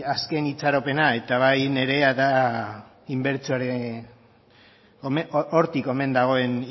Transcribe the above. azken itxaropena eta bai nirea da hortik omen dagoen